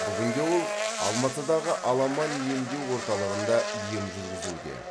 бүгінде ол алматыдағы аламан емдеу орталығында ем жүргізуде